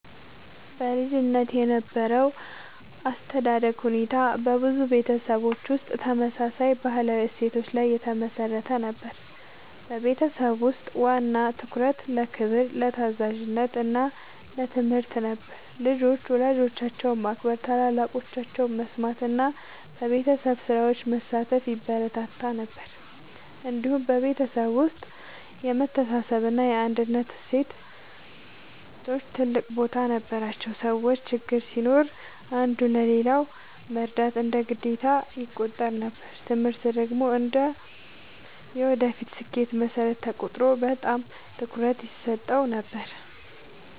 በልጅነት የነበረው የአስተዳደግ ሁኔታ በብዙ ቤተሰቦች ውስጥ ተመሳሳይ ባህላዊ እሴቶች ላይ የተመሠረተ ነበር። በቤት ውስጥ ዋና ትኩረት ለክብር፣ ለታዛዥነት እና ለትምህርት ነበር። ልጆች ወላጆቻቸውን ማክበር፣ ታላላቆቻቸውን መስማት እና በቤተሰብ ስራዎች መሳተፍ ይበረታታ ነበር። እንዲሁም በቤተሰብ ውስጥ የመተሳሰብ እና የአንድነት እሴቶች ትልቅ ቦታ ነበራቸው። ሰዎች ችግር ሲኖር አንዱ ለሌላው መርዳት እንደ ግዴታ ይቆጠር ነበር። ትምህርት ደግሞ እንደ የወደፊት ስኬት መሠረት ተቆጥሮ በጣም ትኩረት ይሰጠው ነበር።